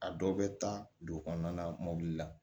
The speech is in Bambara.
A dɔw bɛ taa dugu kɔnɔna mɔbili la